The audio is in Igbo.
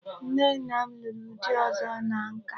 Nne nna m lụrụ di ọzọ na nka.